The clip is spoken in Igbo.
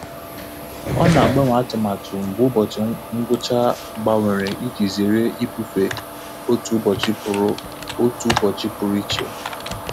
Ọ na-agbanwe atụmatụ mgbe ụbọchị ngwụcha gbanwere iji zere ibufe otu ụbọchị pụrụ otu ụbọchị pụrụ iche.